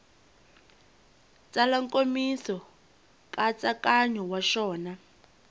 tsala nkomiso nkatsakanyo wa xona